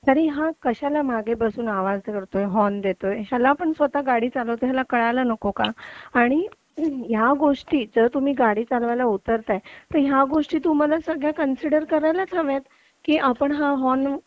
तरी हा कशाला मागे बसून आवाज करतोय हॉर्न देतोय आपण स्वतः गाडी चालवतोय याला कळायला नको का आणि या गोष्टी जर तुम्ही गाडी चालवायला उतरत आहे तर या गोष्टी सगळ्या तुम्हाला कन्सिडर करायलाच हव्यात की आपण हा हॉर्न